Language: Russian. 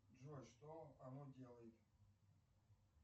джой что оно делает